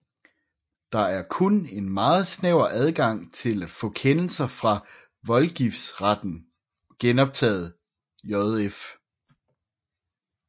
Der er kun en meget snæver adgang til at få kendelser fra voldgiftsretten genoptaget jf